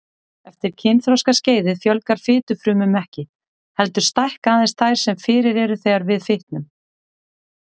Eftir kynþroskaskeiðið fjölgar fitufrumum ekki, heldur stækka aðeins þær sem fyrir eru þegar við fitnum.